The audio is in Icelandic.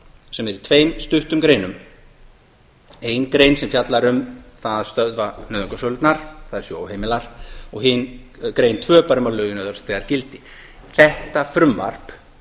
sem er í tveim stuttum greinum einni grein sem fjallar um það að stöðva nauðungarsölurnar þær séu óheimilar og hin greinar tvö bara um að lögin öðlist þegar gildi þetta frumvarp